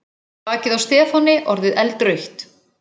Bakið á Stefáni orðið eldrautt.